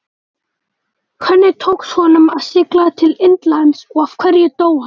Hvernig tókst honum að sigla til Indlands og af hverju dó hann?